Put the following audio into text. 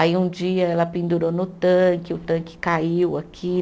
Aí um dia ela pendurou no tanque, e o tanque caiu aqui